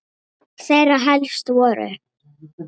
Þeirra helst voru